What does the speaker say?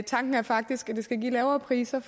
tanken er faktisk at det skal give lavere priser